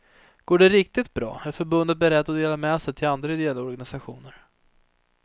Går det riktigt bra är förbundet berett att dela med sig till andra ideella organisationer.